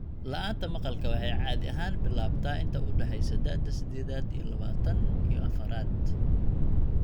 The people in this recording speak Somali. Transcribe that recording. La'aanta maqalka waxay caadi ahaan bilaabataa inta u dhaxaysa da'da sidedad iyo labatan iyo afraad.